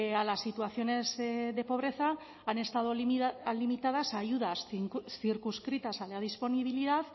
a las situaciones de pobreza han estado limitadas a ayudas circunscritas a la disponibilidad